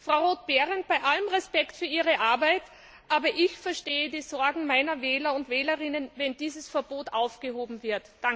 Frau Roth Behrendt, bei allem Respekt für Ihre Arbeit, aber ich verstehe die Sorgen meiner Wähler und Wählerinnen, wenn dieses Verbot aufgehoben wird!